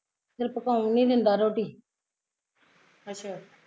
ਚੱਲ ਪਕਾਉਣ ਨੀ ਦਿੰਦਾ ਰੋਟੀ